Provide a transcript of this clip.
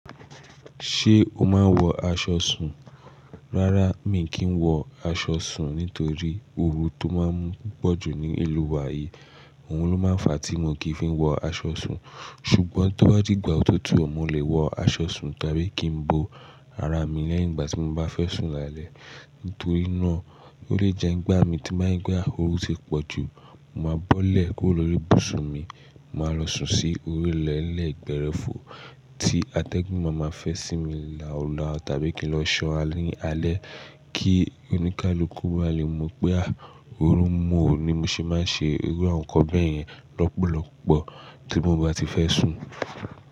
Ṣé o máa ń wọ aṣọ sùn? Rárá, mi kì í wọ aṣọ sùn nítorí ooru tó máa ń pọ̀jù ní ìlú wa yìí. Òhun ló máa ń fa tí mo kì í fi wọ aṣọ sùn. Ṣùgbọ́n tó bá dìgbà òtútù, mo lè wọ aṣọ sùn tàbí kí n bo ara mi lẹ́yìn ìgbà tí mo bá fẹ́ sùn lálẹ́. Nítorí náà, ó lè jẹ ń gbá mi tí bá ń gbá ooru ṣe pọ̀jù, mo máa bọ́lẹ̀ kó lo ri bùsùn mi, mo máa lọ sùn sí orí lẹ́lẹ̀ ìgbẹ́rẹ́fọ̀ tí atẹ́gùn máa máa fẹ́ sí mi là ń lá tàbí kí n lọ sọ alẹ́ ní alẹ́ kí oníkálukú máa lè mọ̀ pé a ooru mú òun ni mo ṣe máa ń ṣe irú àwọn nnkan bẹ́ẹ̀ yẹn lọ́pọ̀lọpọ̀ tí mo bá ti fẹ́ sùn.